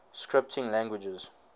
scripting languages